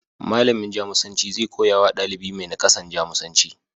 Malamin Jamusanci zai koyawa ɗalibi mai nakasan, Jamusanci.